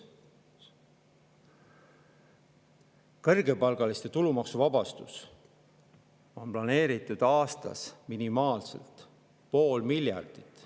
Kõrgepalgaliste tulumaksu on planeeritud aastas minimaalselt pool miljardit.